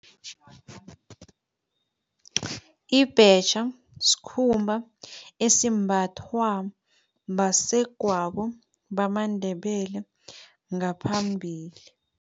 Ibhetjha sikhumba esimbathwa basegwabo bamaNdebele ngaphambili.